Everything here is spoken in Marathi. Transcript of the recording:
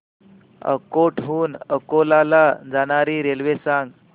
अकोट हून अकोला ला जाणारी रेल्वे सांग